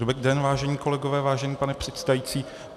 Dobrý den, vážení kolegové, vážený pane předsedající.